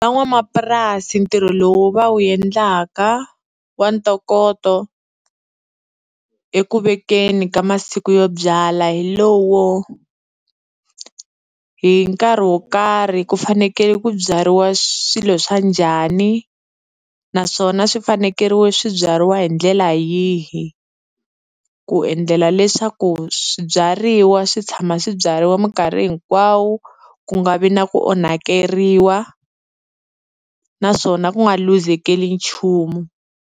Van'wamapurasi ntirho lowu va wu endlaka wa ntokoto eku vekeni ka masiku yo byala hi lowo hi nkarhi wo karhi ku fanekele ku byariwa swilo swa njhani, naswona swi fanekeriwa swi byariwa hi ndlela yihi, ku endlela leswaku swibyariwa swi tshama swi byariwa minkarhi hinkwawo ku nga vi na ku onhakeriwa naswona ku nga luzekeriwi nchumu.